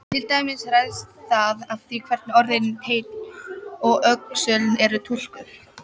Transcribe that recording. Til dæmis ræðst það af því hvernig orðin teinn og öxull eru túlkuð.